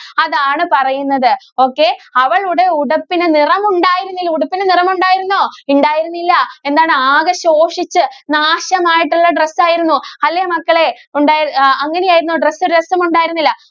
അതാണ്‌ പറയുന്നത്. okay അവളുടെ ഉടുപ്പിന് നിറമുണ്ടായിരുന്നില്ല. ഉടുപ്പിന് നിറമുണ്ടായിരുന്നോ? ഇണ്ടായിരുന്നില്ല. എന്താണ്? ആകെ ശോഷിച്ച് നാശമായിട്ടുള്ള dress ആയിരുന്നു അല്ലേ? മക്കളേ ഉണ്ടായിരു ആ അങ്ങനെ ആയിരുന്നോ? dress രസമുണ്ടായിരുന്നില്ല.